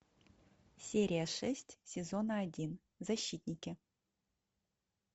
серия шесть сезона один защитники